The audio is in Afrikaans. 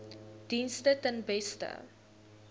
dienste ten beste